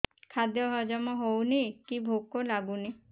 ଖାଦ୍ୟ ହଜମ ହଉନି କି ଭୋକ ଲାଗୁନି